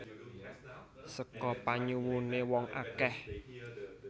Seka panyuwuné wong akèh